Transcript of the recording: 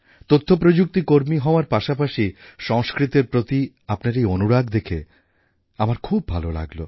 তথ্যপ্রযুক্তি কর্মী হওয়ার পাশাপাশি সংস্কৃতের প্রতি আপনার এই অনুরাগ দেখে আমার খুব ভাল লাগল